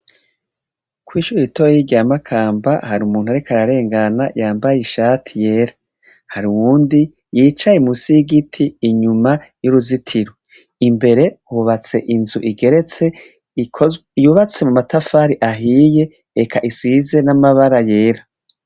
kwishure ritoyi rya makamba hari umuntu ariko ararengana yambaye ishati yera hari uwundi yicaye munsi y'igiti inyuma y'uruzitiro imbere hubatse inzu igeretse yubatse mu matafari ahiye reka isize n'amabara yera